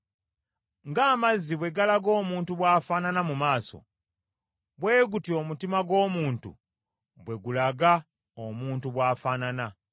Ng’amazzi bwe galaga omuntu bw’afaanana mu maaso, bwe gutyo omutima gw’omuntu bwe gulaga omuntu bw’afaanana.